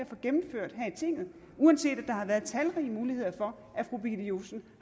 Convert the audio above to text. få gennemført her i tinget uanset at der har været talrige muligheder for at fru birgitte josefsen